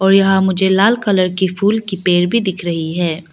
और यहां मुझे लाल कलर की फूल की पेड़ भी दिख रही है।